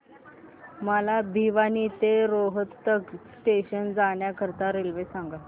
मला भिवानी ते रोहतक जंक्शन जाण्या करीता रेल्वे सांगा